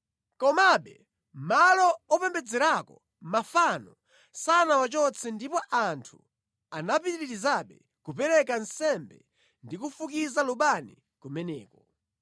Komabe malo opembedzerako mafano sanawachotse ndipo anthu anapitirizabe kupereka nsembe ndi kufukiza lubani kumeneko.